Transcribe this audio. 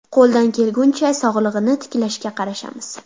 Qo‘ldan kelguncha, sog‘lig‘ini tiklashga qarashamiz.